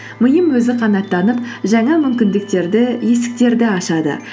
миым өзі қанаттанып жаңа мүмкіндіктерді есіктерді ашады